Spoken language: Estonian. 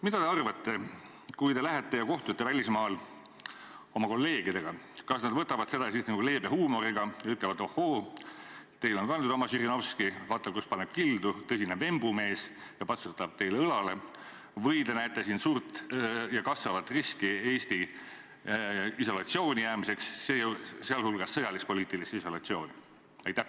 Mida te arvate, kui te lähete ja kohtute välismaal oma kolleegidega, kas nad võtavad seda siis leebe huumoriga ja ütlevad, et ohhoo, teil on ka nüüd oma Žirinovski, vaata, kus paneb kildu, tõsine vembumees, ja patsutavad teile õlale, või te näete siin suurt ja kasvavat riski Eesti isolatsiooni jäämiseks, sealhulgas sõjalis-poliitilisse isolatsiooni?